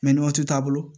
waati t'a bolo